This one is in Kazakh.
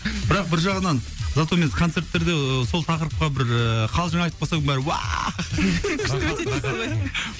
бірақ бір жағынан зато мен концерттерде сол тақырыпқа бір ііі қалжың айтып қалсам бәрі